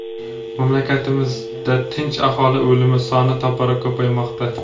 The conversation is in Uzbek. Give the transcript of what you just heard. mamlakatimizda tinch aholi o‘limi soni tobora ko‘paymoqda.